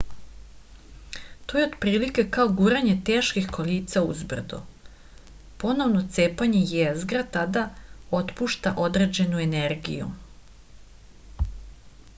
to je otprilike kao guranje teških kolica uz brdo ponovno cepanje jezgra tada otpušta određenu energiju